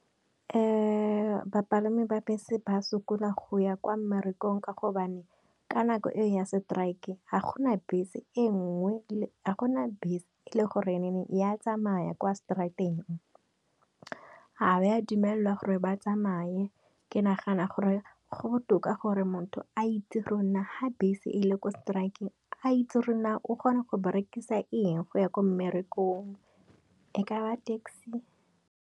Bapalami ba bese ba sokola go ya kwa mmerekong ka gobane, ka nako e ya setraeke, ha gona bese e nngwe, ga gona bese e le gore ya tsamaya kwa straateng. Ga go a dumelwa gore ba tsamaye, ke nagana gore go botoka gore motho a itse gore ha bese e le kwa setraeke e a itse gore o kgona go berekisa eng go ya ko mmerekong, e ka ba taxi.